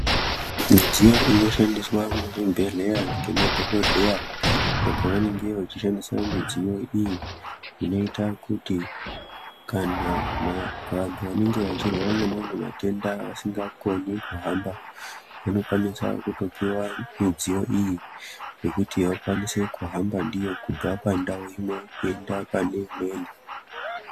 Midziyo inoshandiswa muzvibhehleya ngemadhokodheya apo vanenge vechishandisa midziyo iyi inoita kuti kana vanhu vanenge vachirwara ngemawe matenda vasingakoni kuhamba vanokwanisa kutopihwa midziyo iyi yekuti vakwanise kuhamba ndiyo kubve pandau imwe kuende pane imweni.